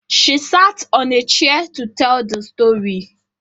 She sat on a chair to teel the story